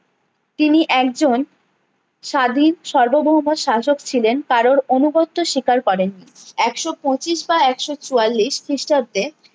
তিনি একজন স্বাধীন সর্বভৌম শাসক ছিলেন কারুর অনুগত্য শিকার করেননি একশো পঁচিশ বা একশো চুয়াল্লিশ খিষ্টাব্দে